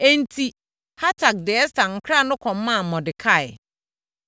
Enti, Hatak de Ɛster nkra no kɔmaa Mordekai.